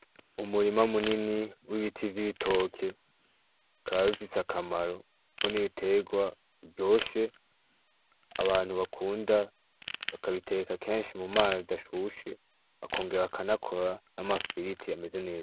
Umurima munini w'ibiti vy'ibitoke kabifise akamaro, kuko n'ibiterwa ryoshe abantu bakunda bakabiteeka kenshi mu mazi ashushe akongera bakanakora n'amafiliti yameze neza.